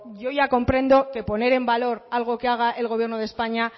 yo ya comprendo que poner en valor algo que haga el gobierno de españa